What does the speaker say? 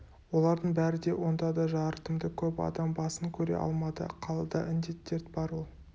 олардың бәрі де онда да жарытымды көп адам басын көре алмады қалада індет дерт бар ол